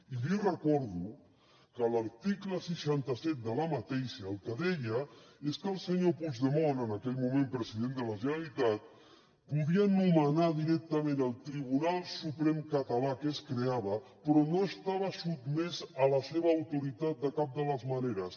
i li recordo que l’article seixanta set de la mateixa llei el que deia és que el senyor puigdemont en aquell moment president de la generalitat podria nomenar directament el tribunal suprem català que es creava però no estava sotmès a la seva autoritat de cap de les maneres